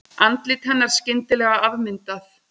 Andlit hennar skyndilega afmyndað.